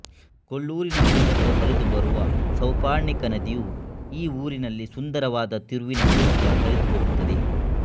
ಕೊಲ್ಲೂರಿನ ಮೂಲಕ ಹರಿದು ಬರುವ ಸೌಪರ್ಣಿಕಾ ನದಿಯು ಈ ಊರಿನಲ್ಲಿ ಸುಂದರವಾದ ತಿರುವಿನ ಮೂಲಕ ಹರಿದು ಹೋಗುತ್ತದೆ